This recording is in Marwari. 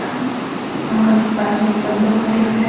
अंकल जी के पास में एक बन्दों खड़यो है।